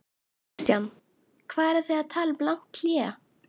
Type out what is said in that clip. Kristján: Hvað eru þið að tala um langt hlé?